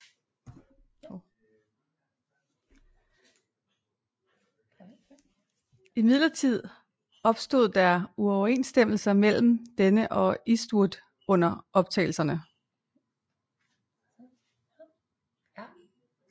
Imidlertid opstod der uoverensstemmelser mellem denne og Eastwood under optagelserne